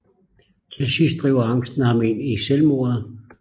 Til sidst driver angsten ham ind i selvmordet